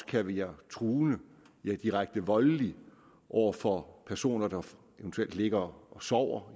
kan være truende ja direkte voldelig over for personer der eventuelt ligger og sover